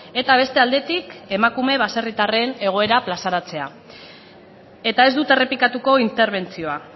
eta beste aldetik emakume baserritarren egoera plazaratzea eta ez dut errepikatuko interbentzioa